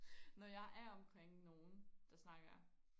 når jeg er omkring nogen der snakker